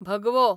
भगवो